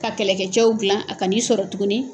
Ka kɛlɛkɛcɛw gilan a ka n'i sɔrɔ tuguni.